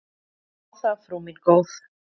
Þá það, frú mín góð.